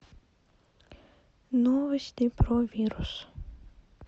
новости про вирус